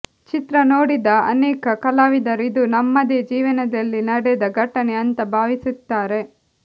ಚಿತ್ರ ನೋಡಿದ ಅನೇಕ ಕಲಾವಿದರು ಇದು ನಮ್ಮದೇ ಜೀವನದಲ್ಲಿ ನಡೆದ ಘಟನೆ ಅಂತ ಭಾವಿಸುತ್ತಾರೆ